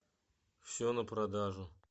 все на продажу